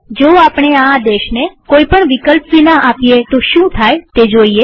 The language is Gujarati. જો આપણે આ આદેશને કોઈ પણ વિકલ્પ વિના આપીએ તો શું થાય તે જોઈએ